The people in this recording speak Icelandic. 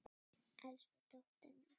Elsku dóttir mín.